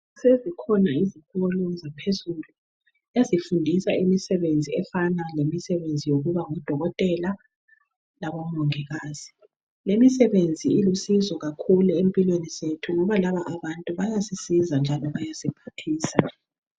Sezikhona izikolo yaphezulu ezifundisa imisebenzi efana lemisebenzi yokuba ngodokotela labomongikazi lemisebenzi ilusizo kakhulu empilweni zethu ngoba laba abantu bayasisiza njalo bayasiphathisa.